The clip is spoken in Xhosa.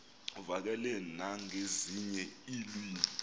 uvakale nangezinye iilwimi